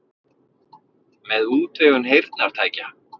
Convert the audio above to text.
Með útvegun heyrnartækja.